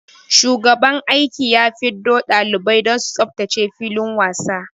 Shugaban aiki ya fiddo dalibai don su tsaftace filin wasa.